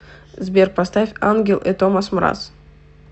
сбер поставь ангел э томас мраз